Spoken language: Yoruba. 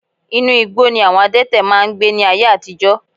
Inú igbó ni àwọn adẹ́tẹ̀ máa ń gbé ní ayé àtijọ́